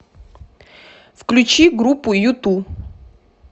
включи группу юту